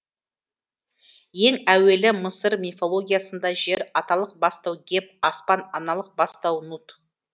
ең әуелі мысыр мифологиясында жер аталық бастау геб аспан аналық бастау нут